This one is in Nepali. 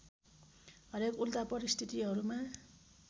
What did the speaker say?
हरेक उल्टा परिस्थितिहरूमा